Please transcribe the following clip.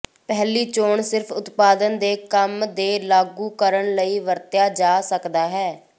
ਪਹਿਲੀ ਚੋਣ ਸਿਰਫ ਉਤਪਾਦਨ ਦੇ ਕੰਮ ਦੇ ਲਾਗੂ ਕਰਨ ਲਈ ਵਰਤਿਆ ਜਾ ਸਕਦਾ ਹੈ